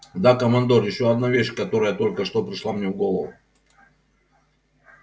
да командор ещё одна вещь которая только что пришла мне в голову